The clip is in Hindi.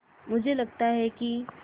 मुझे लगता है कि